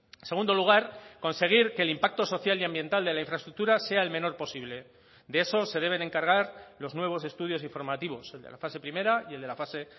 en segundo lugar conseguir que el impacto social y ambiental de la infraestructura sea el menor posible de eso se deben encargar los nuevos estudios informativos el de la fase primera y el de la fase